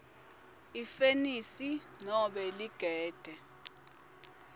ifenisi nobe ligede